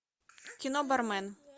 кино бармен